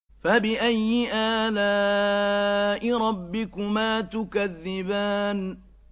فَبِأَيِّ آلَاءِ رَبِّكُمَا تُكَذِّبَانِ